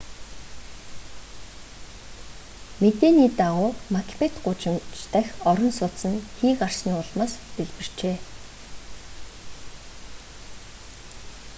мэдээний дагуу макбет гудамж дахь орон сууц нь хий гарсны улмаас дэлбэрчээ